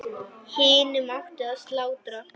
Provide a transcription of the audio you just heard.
Hinum átti að slátra.